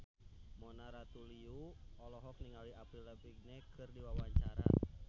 Mona Ratuliu olohok ningali Avril Lavigne keur diwawancara